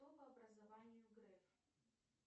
кто по образованию греф